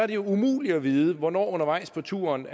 det umuligt at vide hvornår undervejs på turen